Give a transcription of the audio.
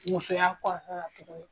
Musoya kɔnɔna tuguni